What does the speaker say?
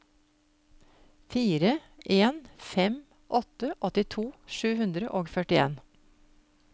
fire en fem åtte åttito sju hundre og førtien